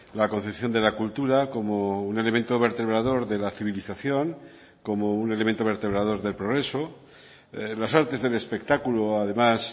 la concepción de la cultura como un elemento vertebrador de la civilización como un elemento vertebrador del progreso las artes del espectáculo además